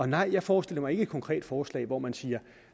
nej jeg forestiller mig ikke et konkret forslag hvor man siger